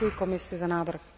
Děkuji Komisi za návrh.